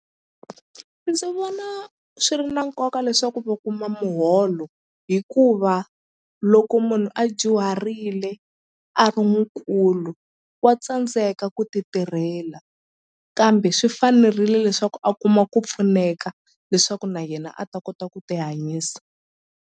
Ndzi vona swi ri na nkoka leswaku va kuma muholo hikuva loko munhu a dyuharile a ri mukulu wa tsandzeka ku ti tirhela kambe swi fanerile leswaku a kuma ku pfuneka leswaku na yena a ta kota ku ti hanyisa.